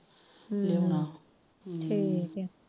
ਹਮ ਠੀਕੇ